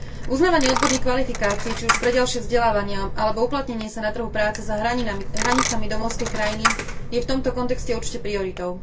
Uznávanie odborných kvalifikácií či už pre ďalšie vzdelávanie, alebo uplatnenie sa na trhu práce za hranicami domovskej krajiny je v tomto kontexte určite prioritou.